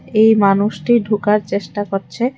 এই মানুষটি ঢুকার চেষ্টা করছে।